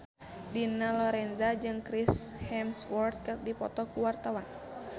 Dina Lorenza jeung Chris Hemsworth keur dipoto ku wartawan